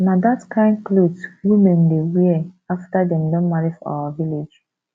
na that kyn cloth women dey wear after dem don marry for our village